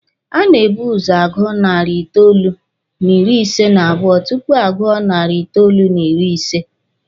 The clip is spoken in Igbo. A na-ebu ụzọ agụ narị itoolu n'ịrị ise n'abụọ tupu a gụọ nari itoolu n'ịrị ise.